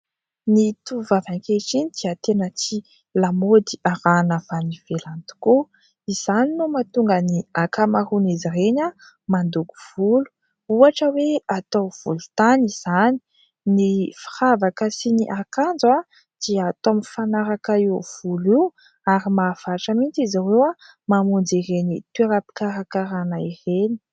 Ny tovovavy ankehitriny dia tena tia lamaody arahina avy any ivelany tokoa. Izany no mahatonga ny ankamaroan' izy ireny: mandoko volo ohatra hoe atao volontany izany, ny firavaka sy ny akanjo dia atao mifanaraka io volo io ary mahavatra mihitsy izy ireo mamonjy ireny toeram-pikarakarana ireny.